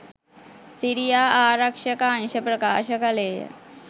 සිරියා ආරක්ෂක අංශ ප්‍රකාශ කළේය